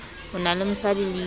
o na le mosadi le